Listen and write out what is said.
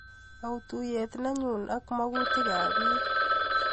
Auu tuiyet nenyuu ak kamakutikap piik.